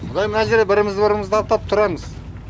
былай мына жерде бірімізді біріміз аттап тұрамыз